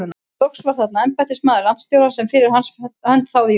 Loks var þarna embættismaður landstjórans sem fyrir hans hönd þáði Jón